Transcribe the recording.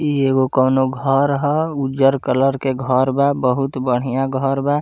इ एगो कौनो घर हो उज्जर कलर के घर बा बहुत बढ़िया घर बा।